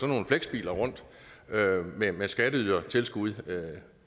nogle flexbiler rundt med skatteydertilskud